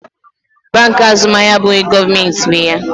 Bankị Azụmahịa abụghị gọọmentị nwe ha.